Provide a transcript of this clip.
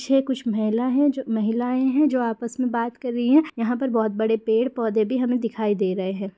छे कुछ महिला है जो महिलाये है जो आपस में बात कर रही हैं। यहाँ पर बहुत बड़े पेड़ पौधे भी हमें दिखाई दे रहें है।